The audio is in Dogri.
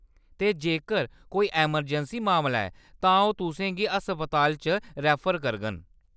ते जेक्कर कोई इमरजैंसी मामला ऐ तां ओह्‌‌ तु'सें गी अस्पतालें च रेफर करङन।